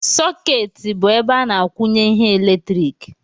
Sokeeti bụ ebe a na-akwụnye ihe eletrik